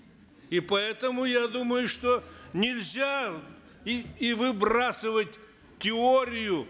и поэтому я думаю что нельзя и и выбрасывать теорию